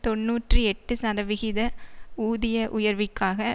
தொன்னூற்றி எட்டு சதவிகித ஊதிய உயர்விற்காக